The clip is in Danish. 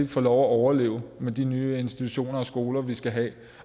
får lov at overleve med de nye institutioner og skoler vi skal have